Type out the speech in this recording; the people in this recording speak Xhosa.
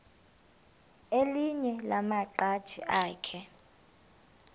elinye lamaqhaji akhe